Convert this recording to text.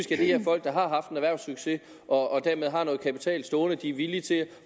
de her folk der har haft en erhvervssucces og dermed har noget kapital stående som de er villige til